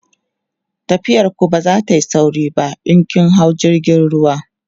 tafiyar ku ba zatayi sauri ba in kin hau jirgin ruwa